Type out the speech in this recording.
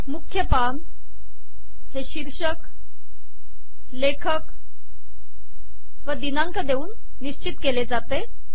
मुख्य पान हे शीर्षक लेखक व दिनांक देऊन निश्चित केले जाते